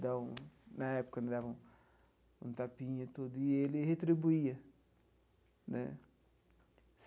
Então na época, quando dava um um tapinha tudo e ele retribuía, né?